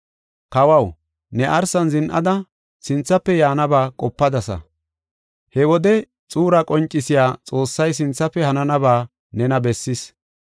“Kawaw, ne arsan zin7ada, sinthafe yaanaba qopadasa. He wode xuura qoncisiya Xoossay sinthafe hananaba nena bessis.